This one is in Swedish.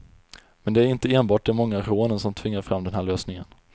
Men det är inte enbart de många rånen som tvingar fram den här lösningen.